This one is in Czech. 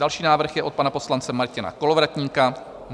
Další návrh je od pana poslance Martina Kolovratníka -